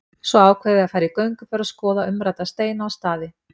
Svo ákveðum við að fara í gönguferð og skoða umrædda steina og staði.